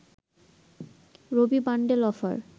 Rabi bundle offer